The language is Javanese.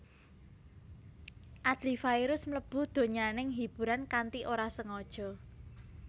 Adly Fairuz mlebu donyaning hiburan kanthi ora sengaja